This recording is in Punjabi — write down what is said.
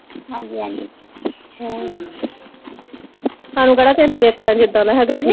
ਹਾਂਜੀ ਹਾਂਜੀ ਹਾਨੂੰ ਕਿਹੜਾ ਕਿਹੇ ਨੇ ਵੇਖਣਾ ਜਿਦਾ ਦਾ ਹੇਗਾ ਠੀਕ ਹੈ